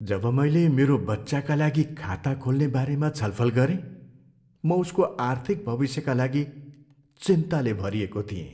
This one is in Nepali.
जब मैले मेरो बच्चाका लागि खाता खोल्ने बारेमा छलफल गरेँ, म उसको आर्थिक भविष्यका लागि चिन्ताले भरिएको थिएँ।